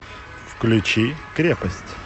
включи крепость